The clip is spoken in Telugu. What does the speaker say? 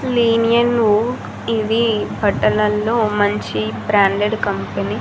ఇవి బట్టలలో మంచి బ్రాండెడ్ కంపెనీ .